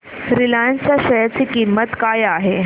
Reliance च्या share ची किंमत काय आहे